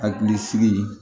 Hakili sigi